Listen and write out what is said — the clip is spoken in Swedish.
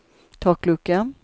taklucka